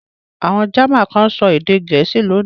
Àwọn German kan ń sọ èdè Gẹ̀ẹ́sì lónìí.